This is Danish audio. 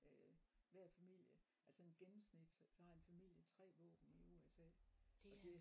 Øh hver familie altså sådan gennemsnit så har en familie 3 våben i USA og det